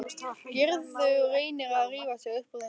Gerður reynir að rífa sig upp úr þessu.